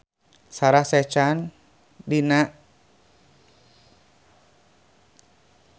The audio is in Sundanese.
Sarah Sechan jeung Kirsten Dunst keur dipoto ku wartawan